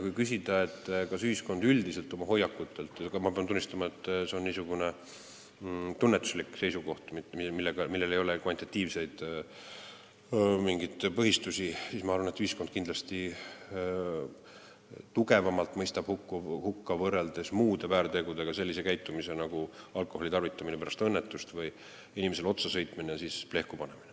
Kui küsida, millised on ühiskonna hoiakud, siis ma pean tunnistama, et see on niisugune tunnetuslik seisukoht, millel ei ole kvantitatiivselt mingeid põhistusi, aga ma arvan, et ühiskond kindlasti mõistab tugevamalt hukka, võrreldes muude väärtegudega, sellise käitumise nagu alkoholi tarvitamine pärast õnnetust või inimesele otsasõitmine ja siis plehkupanemine.